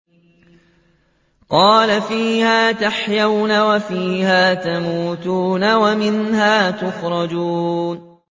قَالَ فِيهَا تَحْيَوْنَ وَفِيهَا تَمُوتُونَ وَمِنْهَا تُخْرَجُونَ